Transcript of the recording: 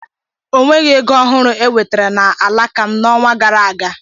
Ọnweghị ego ọhụrụ ewetara na alaka m n'ọnwa gara aga.